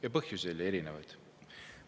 Ja põhjusi oli erinevaid.